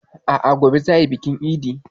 A'a, gobe za a yi bikin idin.